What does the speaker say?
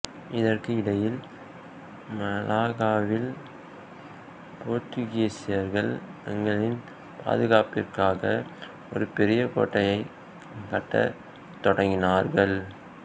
இதற்கு இடையில் மலாக்காவில் போர்த்துகீசியர்கள் தங்களின் பாதுகாப்பிற்காக ஒரு பெரிய கோட்டையைக் கட்டத் தொடங்கினார்கள்